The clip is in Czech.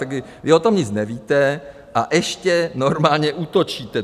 Tak vy o tom nic nevíte a ještě normálně útočíte.